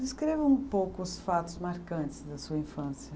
Descreva um pouco os fatos marcantes da sua infância.